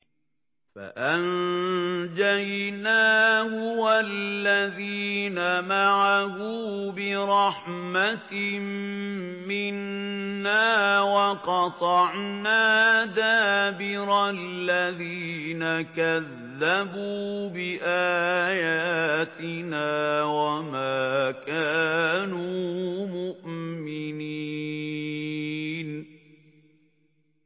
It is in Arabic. فَأَنجَيْنَاهُ وَالَّذِينَ مَعَهُ بِرَحْمَةٍ مِّنَّا وَقَطَعْنَا دَابِرَ الَّذِينَ كَذَّبُوا بِآيَاتِنَا ۖ وَمَا كَانُوا مُؤْمِنِينَ